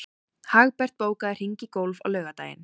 Hagbert, bókaðu hring í golf á laugardaginn.